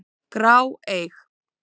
grá, eig.